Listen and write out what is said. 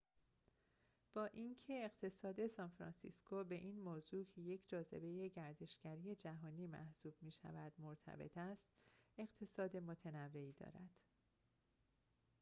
با اینکه اقتصاد سان‌فرانسیسکو به این موضوع که یک جاذبه گردشگری جهانی محسوب می‌شود مرتبط است اقتصاد متنوعی دارد